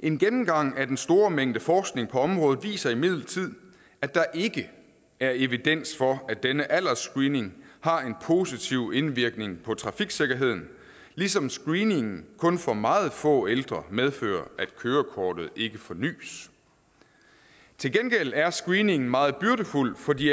en gennemgang af den store mængde forskning på området viser imidlertid at der ikke er evidens for at denne aldersscreening har en positiv indvirkning på trafiksikkerheden ligesom screeningen kun for meget få ældre medfører at kørekortet ikke fornys til gengæld er screeningen meget byrdefuld for de